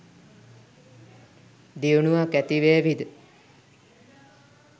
දියුණුවක් ඇතිවේවි ද?